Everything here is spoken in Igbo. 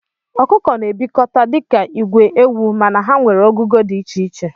Okụkọ na ebikọta dika igwe ewu mana ha nwere ogugo di icheiche.